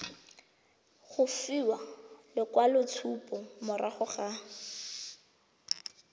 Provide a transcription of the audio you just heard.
go fiwa lekwaloitshupo morago ga